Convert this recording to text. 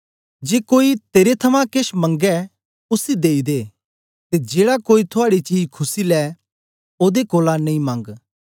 जे कोई तेरे थमां केश मंगै उसी देई दे ते जेड़ा कोई थुआड़ी चीज खुस्सी लै ओदे कोलां नेई मंग